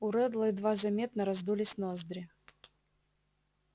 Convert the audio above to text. у реддла едва заметно раздулись ноздри